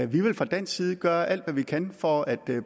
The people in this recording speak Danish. vi vil fra dansk side gøre alt hvad vi kan for at